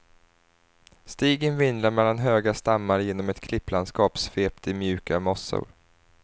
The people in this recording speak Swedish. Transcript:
Stigen vindlar mellan höga stammar genom ett klipplandskap svept i mjuka mossor.